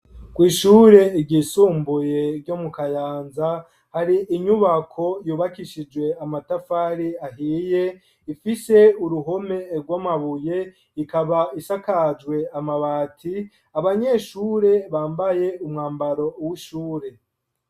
Kw'ishure ryisumbuye ryo mu kayanza hari inyubako yubakishije amatafari ahiye ifise uruhome rw'amabuye ikaba isakajwe amabati abanyeshure bambaye umwambaro w'ishure.